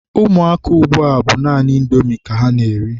Ụmụaka ugbua bụ naanị Indomi ka ha na-eri.